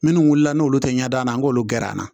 Minnu wulila n'olu tɛ ɲɛ da n'olu gɛrɛnna